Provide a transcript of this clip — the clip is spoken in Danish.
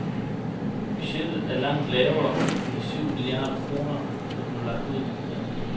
Budgettet er langt lavere end de syv milliarder kroner, der blev lagt ud med.